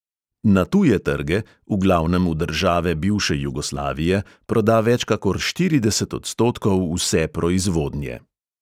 Na tuje trge, v glavnem v države bivše jugoslavije, proda več kakor štirideset odstotkov vse proizvodnje.